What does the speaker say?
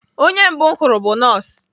Onye mbụ m hụrụ bụ nọọsụ